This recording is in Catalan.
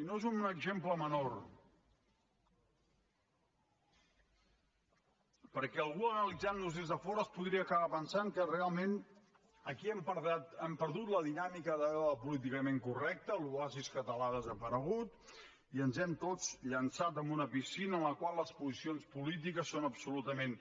i no és un exemple menor perquè algú analitzant nos des de fora es podria acabar pensant que realment aquí hem perdut la dinàmica d’allò políticament correcte l’oasi català ha desaparegut i ens hem tots llençat en una piscina en la qual les posicions polítiques són absolutament